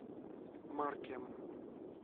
маркем